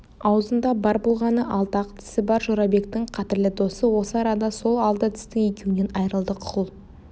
аузында бар болғаны алты-ақ тісі бар жорабектің қадірлі досы осы арада сол алты тістің екеуінен айрылды құл